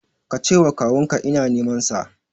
Ka ce wa kawun ka ina neman sa